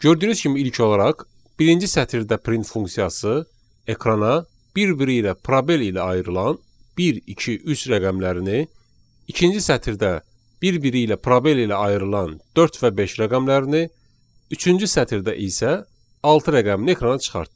Gördüyünüz kimi ilk olaraq, birinci sətirdə print funksiyası ekrana bir-biri ilə probel ilə ayrılan bir, iki, üç rəqəmlərini, ikinci sətirdə bir-biri ilə probel ilə ayrılan dörd və beş rəqəmlərini, üçüncü sətirdə isə altı rəqəmini ekrana çıxartdı.